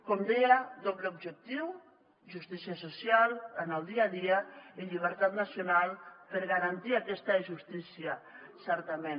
com deia doble objectiu justícia social en el dia a dia i llibertat nacional per garantir aquesta justícia certament